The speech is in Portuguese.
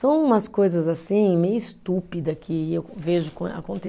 São umas coisas assim, meio estúpidas, que eu vejo